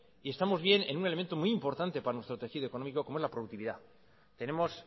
y estamos bien en un elemento muy importante para nuestro tejido económico como es la productividad tenemos